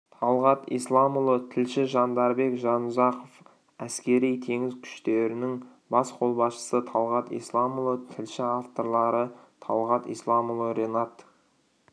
талғат исламұлы тілші жандарбек жанұзақов әскери-теңіз күштерінің бас қолбасшысы талғат исламұлы тілші авторлары талғат исламұлы ренат